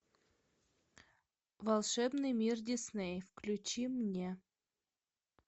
волшебный мир дисней включи мне